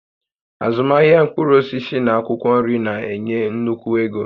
Azụmahịa mkpụrụ osisi na akwụkwọ nri na-enye nnukwu ego